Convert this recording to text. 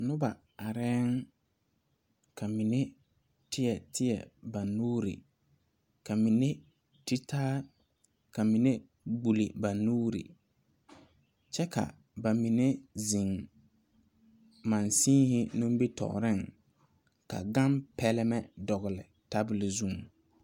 Nuba arẽ ka menne teɛ teɛ ba nuuri ka mene te taa ka mene gbuli ba nuuri kye ka ba menne zeng manchine nimitoɔring ka gang pɛlme dɔgli tabol zung.